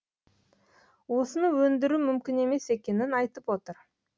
осыны өндіру мүмкін емес екенін айтып отыр